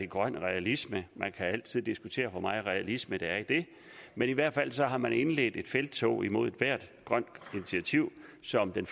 grøn realisme man kan altid diskutere hvor meget realisme der er i det men i hvert fald har man indledt et felttog imod ethvert grønt initiativ som den